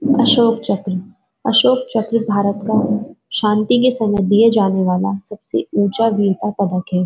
अशोक चक्र अशोक चक्र भारत का शांति के समय दिये जाने वाला सबसे ऊंचा वीरता पदक है।